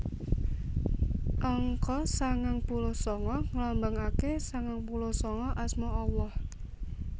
Angka sangang puluh sanga ngelambangake sangang puluh sanga Asma Allah